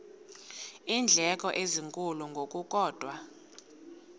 iindleko ezinkulu ngokukodwa